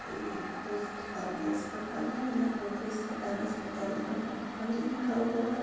ये कोई सरकारी अस्पताल है जहाँ पर सदर अस्पताल जहानाबाद लिखा हुआ है।